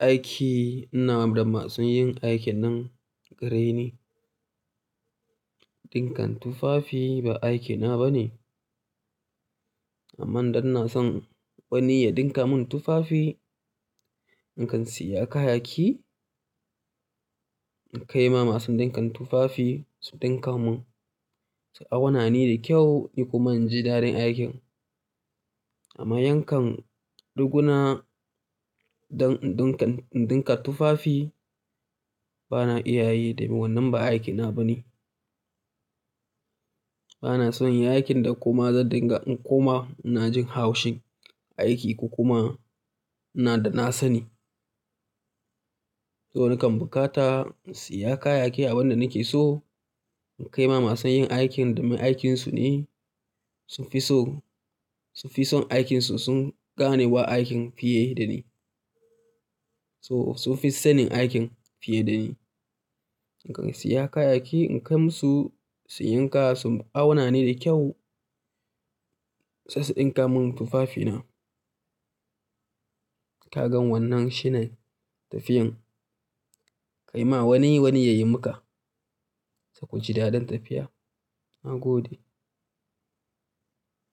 aiki ina da masu yin aikin nan hare ni. Dinkan tufafi ba aikina ba ne. Amma don na san wani ya dinka mun tufafi, in kan siya kayayyaki, in kai ma masu dinkan tufafi su dinka mun, su auna ni da kyau ni kuma inji da dare aikin. Amma yankan riguna don in dinka, in dinka tufafi bana iya yi domin wannan ba aikina ba ne. Bana son yin aikin da kuma zan dinga in kuma na jin haushin aiki kuma ina da na sani. To nakan bukata in siya kayayyaki abin da nake so, in kai ma masu yin aikin da mai aikinsu ne sun fi so, sun fi son aikinsu sun gane wa aikin fiye da ni. So sun fi sanin aikin fiye da ni. Ni kan siya kayayyaki in kai masu, su yanka su auna ni da kyau sai su dinka mun tufafina. Kaga wannan shinen tafiyan kai ma wani, wani ya yi maka sai kuji da ɗin tafiya. Na gode.